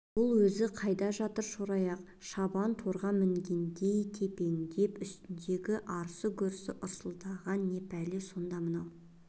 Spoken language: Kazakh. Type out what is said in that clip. бұл өз қайда жатыр шораяқ шабан торыға мінгендей тепеңдеп үстіндегі арсы-гүрсі ырсылдаған не пәле сонда мынау